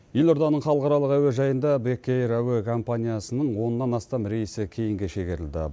елорданың халықаралық әуежайында бек эйр әуе компаниясының оннан астам рейсі кейінге шегерілді